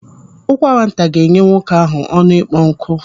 Ụkwara nta ga-enye nwoke ahụ ọnụ ịkpọ nkụ.